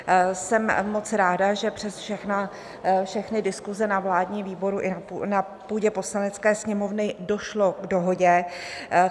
Jsem moc ráda, že přes všechny diskuse na vládním výboru i na půdě Poslanecké sněmovny došlo k dohodě.